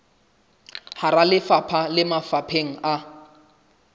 hara lefapha le mafapheng a